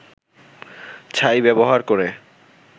ছাই ব্যবহার করে